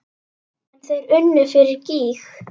En þeir unnu fyrir gýg.